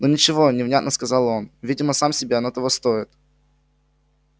ну ничего невнятно сказал он видимо сам себе оно того стоит